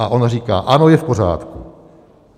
A ona říká: Ano, je v pořádku.